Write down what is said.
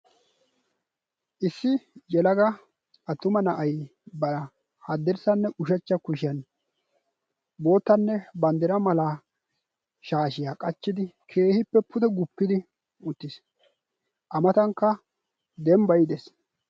Issi yelaga attuma na'ay bara haddirssanne ushachcha kushiyan boottanne banddira malaa shaashiyaa qachchidi keehippe pude guppidi uttiis. A matankka dembbay dees.